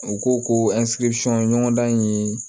U ko ko ɲɔgɔn dan in ye